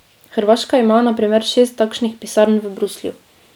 Hrvaška ima na primer šest takšnih pisarn v Bruslju.